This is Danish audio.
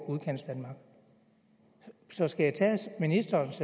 udkantsdanmark så skal jeg tage ministerens